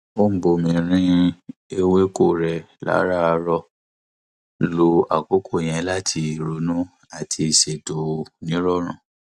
ó ń bomi rin ewéko rẹ láràárọ lo àkókò yẹn láti ronú àti ṣètò nírọrùn